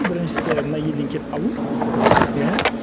біріншісі мына елден кетіп қалу иә